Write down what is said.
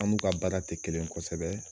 An n'u ka baara te kelen ye kɔsɛbɛ